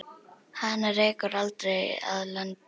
Hana rekur aldrei að landi.